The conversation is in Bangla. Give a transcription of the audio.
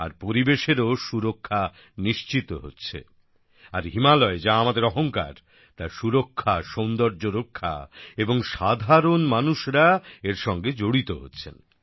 আর পরিবেশেরও সুরক্ষা নিশ্চিত হচ্ছে আর হিমালয় যা আমাদের অহংকার তার সুরক্ষা সৌন্দর্য রক্ষা এবং সাধারণ মানুষরা এর সঙ্গে জড়িত হচ্ছে